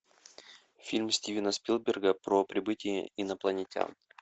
фильм стивена спилберга про прибытие инопланетян